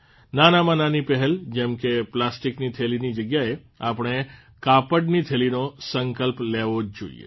નાનામાં નાની પહેલ જેમ કે પ્લાસ્ટિકની થેલીની જગ્યાએ આપણે કાપડની થેલીનો સંકલ્પ લેવો જ જોઇએ